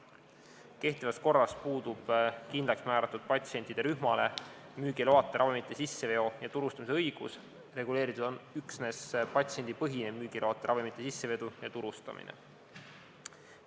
Kehtivas korras puudub kindlaksmääratud patsientide rühmale müügiloata ravimite sisseveo- ja turustamise õigus, reguleeritud on üksnes patsiendipõhine müügiloata ravimite sissevedu ja turustamine.